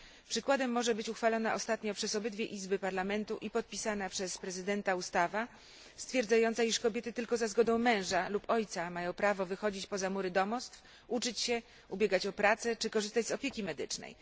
Przykładem może być uchwalona ostatnio przez obydwie izby parlamentu i podpisana przez prezydenta ustawa stwierdzająca, iż kobiety tylko za zgodą męża lub ojca mają prawo wychodzić poza mury domostw, uczyć się, ubiegać o pracę czy korzystać z opieki medycznej.